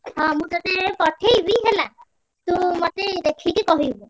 ହଁ ମୁଁ ତତେ ପଠେଇବି ହେଲା ତୁ ମତେ ଦେଖିକି କହିବୁ।